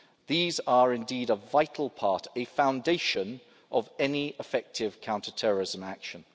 These are indeed a vital part, a foundation, of any effective counterterrorism action.